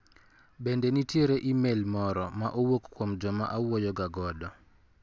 Bende nitiere imel moro ma owuok kuom joma awuoyo ga godo?